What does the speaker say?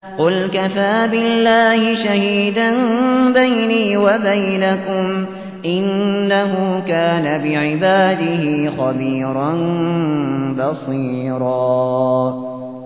قُلْ كَفَىٰ بِاللَّهِ شَهِيدًا بَيْنِي وَبَيْنَكُمْ ۚ إِنَّهُ كَانَ بِعِبَادِهِ خَبِيرًا بَصِيرًا